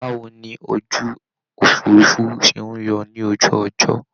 Báwo ni ojú òfuurufú ṣe ń yọ ní ojú ọjọ́?